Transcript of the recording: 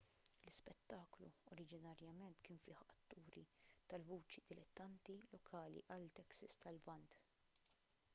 l-ispettaklu oriġinarjament kien fih atturi tal-vuċi dilettanti lokali għal texas tal-lvant